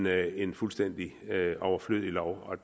er en fuldstændig overflødig lov og